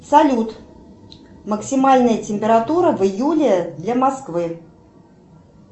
салют максимальная температура в июле для москвы